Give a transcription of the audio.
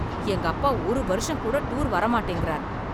எங்க அப்பா ஒரு வருஷம் கூட டூர் வரமாட்டேங்கிறார்.